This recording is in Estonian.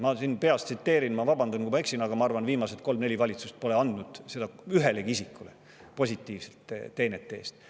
Ma peast, vabandan, kui ma eksin, aga ma arvan, et viimased kolm-neli valitsust pole andnud seda ühelegi isikule tema teenete eest.